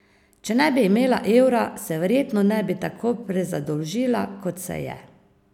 Če ne bi imela evra, se verjetno ne bi tako prezadolžila, kot se je.